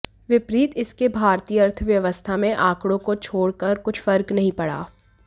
विपरीत इसके भारतीय अर्थव्यवस्था में आंकड़ों को छोड़ कर कुछ फर्क नहीं पड़ा